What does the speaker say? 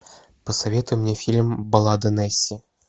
посоветуй мне фильм баллада несси